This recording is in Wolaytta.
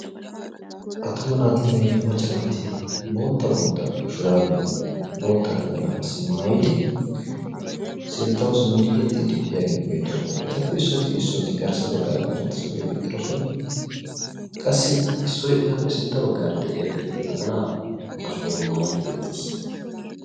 Artuma naatinne macca naati pootta shurabiya pootta naxalaa qassi maayyidi sinttaw simmidi yexxide biyaageeti beettooosna. Etappe issoti issoti garssa baggaara karetta suriyaa gixxidoosona. Qassi issoy etappe sintta baggaara de'iyaage naxala ba shayyan maayyidi beettees.